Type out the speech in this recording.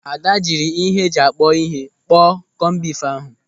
Ada jiri ihe eji akpọ ihe kpọọ kọmbif ahụ.